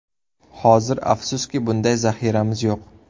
Hozir, afsuski, bunday zaxiramiz yo‘q.